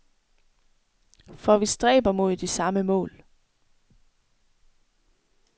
For vi stræber mod de samme mål.